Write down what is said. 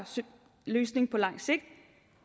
løsning på langt sigt